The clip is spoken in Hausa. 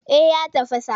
Eh ya tafasa.